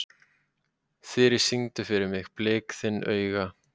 Þyri, syngdu fyrir mig „Blik þinna augna“.